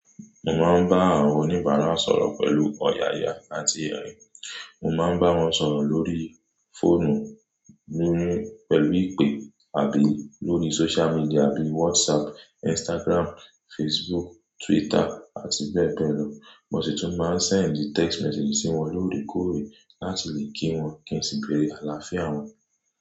Mo máa ń bá àwọn oníbàárà sọ̀rọ̀ pẹ̀lú ọ̀yàyà àti ẹ̀rín. Mo máa ń bá wọn sọ̀rọ̀ lórí fóònù ni pẹ̀lú ìpè tàbí lórí social media bíi WhatsApp, Instagram, Facebook, Twitter àti bẹ́ẹ̀ bẹ́ẹ̀ lọ. Mo sì tún máa ń sẹ́ẹ̀ndì text message sí wọn lóore kóòrè láti lè kí wọn kí n sì bẹ̀rẹ̀ àlàáfíà wọn.